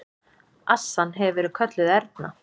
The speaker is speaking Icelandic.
Assan hefur verið kölluð Erna.